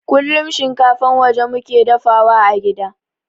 Kullun shinkafan waje muke dafawa a gida